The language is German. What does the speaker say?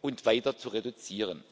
und weiter zu reduzieren.